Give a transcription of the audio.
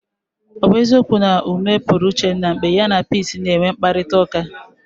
Ọ bụ eziokwu na ume pụrụ Uchenna mgbe ya na Peace na-enwe mkparịtaụka?